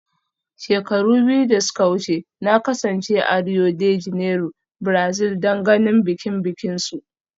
Shekaru biyu da suka wuce, na kasance a Rio de Janeiro, Brazil don ganin bikin bikinsu